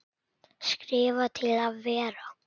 Skrifa til að vera?